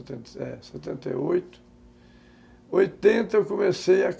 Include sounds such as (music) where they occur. setenta (unintelligible) e oito, oitenta eu comecei a